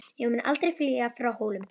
Ég mun aldrei flýja frá Hólum!